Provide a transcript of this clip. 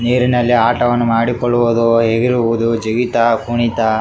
ನೀರಿನಲ್ಲಿ ಆಟವನ್ನು ಮಾಡಿಕೊಳ್ಳುವುದು ಎಗರುವುದು ಜಿಗಿತ ಕುಣಿತ --